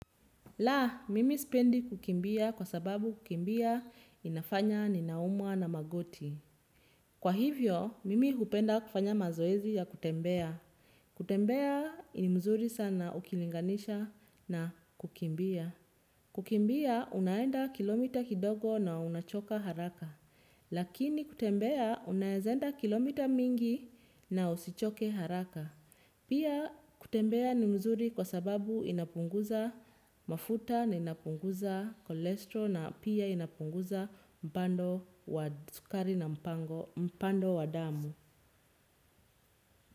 La, mimi sipendi kukimbia kwa sababu kukimbia inafanya ninaumwa na magoti. Kwa hivyo, mimi hupenda kufanya mazoezi ya kutembea. Kutembea ni mzuri sana ukilinganisha na kukimbia. Kukimbia, unaenda kilomita kidogo na unachoka haraka. Lakini kutembea, unaeza enda kilomita mingi na usichoke haraka. Pia kutembea ni mzuri kwa sababu inapunguza mafuta na inapunguza chorestrol na pia inapunguza mpando wa mpando wa damu.